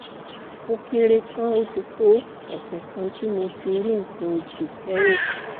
ó kéré tán ó ti tó ọ̀sẹ̀ kan tí mo ti rí nǹkan oṣù kẹ́yìn